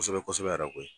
Kosɛbɛ kosɛbɛ yɛrɛ koyi